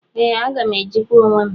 Ee aga m ejikwa onwem.